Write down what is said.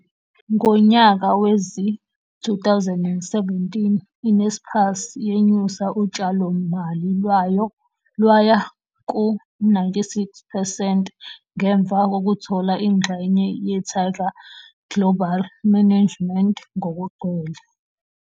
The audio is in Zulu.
Ngonyaka wezi-2017 i-Naspers yenyusa utshalomali lwayo lwaya ku-96 percent ngemva kokuthola ingxenye ye-Tiger Global Management ngokugcwele.